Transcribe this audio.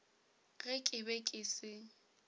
ge ke be ke se